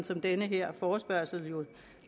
som den her forespørgsel jo